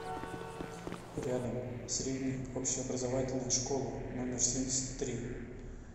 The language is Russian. рядом средняя общеобразовательная школа номер семьдесят три